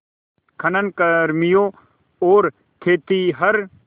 खनन कर्मियों और खेतिहर